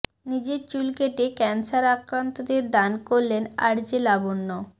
নিজের চুল কেটে ক্যান্সার আক্রান্তদের দান করলেন আরজে লাবণ্য